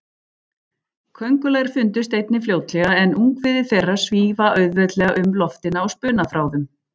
Köngulær fundust einnig fljótlega, en ungviði þeirra svífa auðveldlega um loftin á spunaþráðum.